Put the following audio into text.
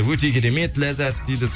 өте керемет ләззат дейді